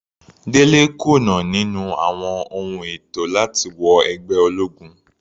Dele kùnà níní àwọn ohun ètò láti wọ ẹgbẹ́ ológun.